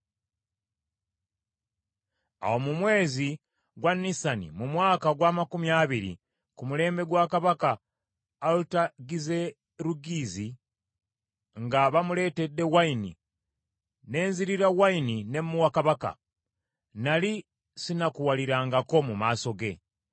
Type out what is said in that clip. Awo mu mwezi gwa Nisani mu mwaka ogw’amakumi abiri ku mulembe gwa Kabaka Alutagizerugizi , nga bamuleetedde wayini, ne nzirira wayini ne muwa kabaka. Nnali sinakuwalirangako mu maaso ge.